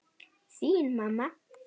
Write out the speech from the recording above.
Þín mamma.